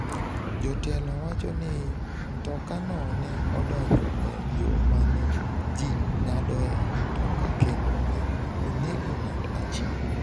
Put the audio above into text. Jotelo wacho ni mtokano ne odonjo e yo ma ne ji ng’adoe mtoka kendo ne onego ng’at achiel.